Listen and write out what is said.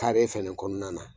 Tare fɛnɛ kɔnɔna na.